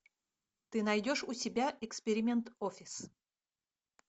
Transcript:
ты найдешь у себя эксперимент офис